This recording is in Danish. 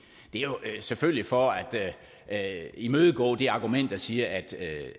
det er selvfølgelig for at imødegå det argument der siger